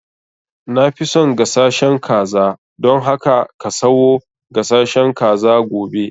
Na fi son gasashen kaza, dan haka ka sayo gasashen kaza gobe